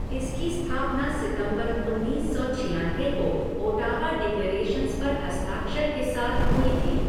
इसकी स्थापना सितंबर उन्नीस सौ छयानवे को ओटावा डिक्लेरेशन्स पर हस्ताक्षर के साथ हुई थी।